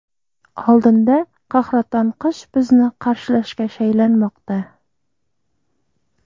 Oldinda qahraton qish bizni qarshilashga shaylanmoqda.